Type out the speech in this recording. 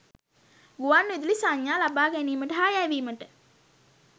ගුවන් විදුලි සංඥා ලබ‍ා ගැනීමට හා යැවීමට